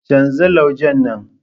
Canza laujen nan.